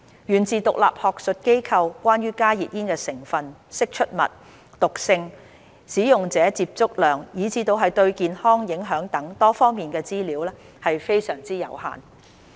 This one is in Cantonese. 源自獨立學術研究，關於加熱煙成分、釋出物、毒性、使用者接觸量以至對健康影響等多方面的資料，非常有限。